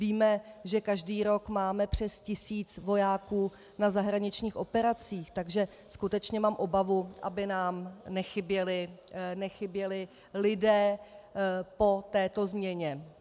Víme, že každý rok máme přes tisíc vojáků na zahraničních operacích, takže skutečně mám obavu, aby nám nechyběli lidé po této změně.